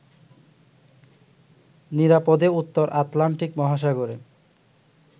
নিরাপদে উত্তর আটলান্টিক মহাসাগরে